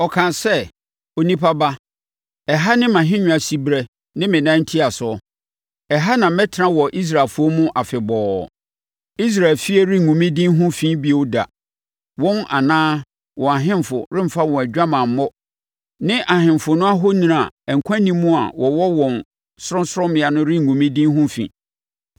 Ɔkaa sɛ, “Onipa ba, ɛha ne mʼahennwa siberɛ ne me nan ntiasoɔ. Ɛha na mɛtena wɔ Israelfoɔ mu afebɔɔ. Israel efie rengu me din ho fi bio da; wɔn anaa wɔn ahemfo remfa wɔn adwamammɔ ne ahemfo no ahoni a nkwa nni mu a wɔwɔ wɔn sorɔnsorɔmmea no rengu me din ho fi.